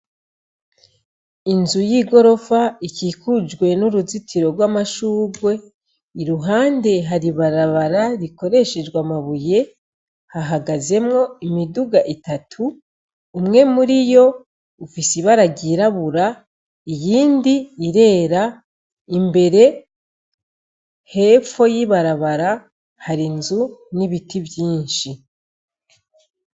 Inzu y'igorofa ikikujwe n'uruzitiro rw'amashurwe iruhande yaho har'ibarabara rikoreshejwe amabuye ,hahagaze imodoka zitatu, umwe muriyo ufise ibara ryirabura, iyindi irera, imbere hepfo y'ibarabara har'inzu n'ibiti vyinshi.